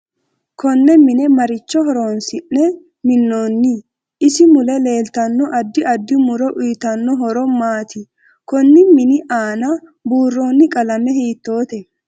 Konne mine maricho horoonsi'ne minooni isi mule leeltano addi addi muro uyiitanno horo maati konni mini aana buurooni qalame hiitoote